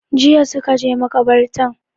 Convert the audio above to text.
Jiya suka je makabartan